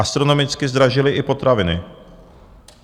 Astronomicky zdražily i potraviny.